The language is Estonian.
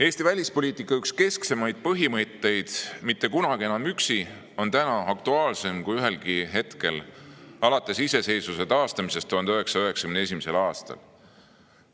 Eesti välispoliitika üks kesksemaid põhimõtteid "Mitte kunagi enam üksi" on täna aktuaalsem kui ühelgi hetkel alates iseseisvuse taastamisest 1991. aastal.